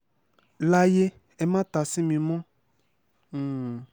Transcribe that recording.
layé ẹ má ta sí mi mọ́ um